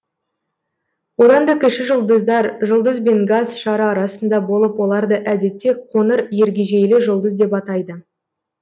одан да кіші жұлдыздар жұлдыз бен газ шары арасында болып оларды әдетте қоңыр ергежейлі жұлдыз деп атайды